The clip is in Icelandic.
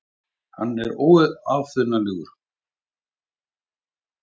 Hann er óaðfinnanlegur.